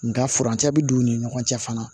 Nga furancɛ bi don u ni ɲɔgɔn cɛ fana